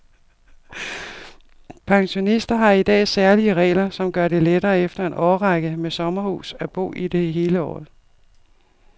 Pensionister har i dag særlige regler, som gør det lettere efter en årrække med sommerhus at bo i det hele året.